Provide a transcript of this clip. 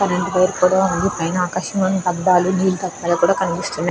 Current wire కూడా ఉంది పైన ఆకాశం లోని అద్దాలు కూడా కనిపిస్తునాయి.